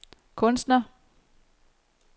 kunstner